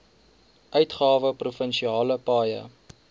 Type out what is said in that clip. uitgawe provinsiale paaie